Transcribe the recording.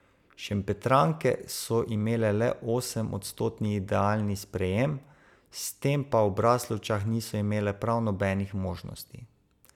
Šempetranke so imele le osem odstotni idealni sprejem, s tem pa v Braslovčah niso imele prav nobenih možnosti.